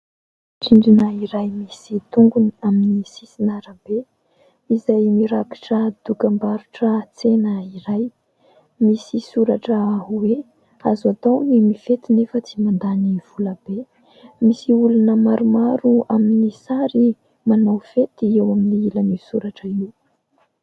Petadrindrina iray misy tongony amin'ny sisin-arabe izay mirakitra dokam-barotra tsena iray. Misy soratra hoe "azo atao ny mifety nefa tsy mandany vola be". Misy olona maromaro amin'ny sary manao fety eo amin'ny ilan'io soratra io.